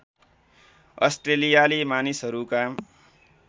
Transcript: अस्ट्रेलियाली मानिसहरूका